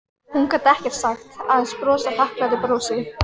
Hún gat ekkert sagt, aðeins brosað þakklátu brosi.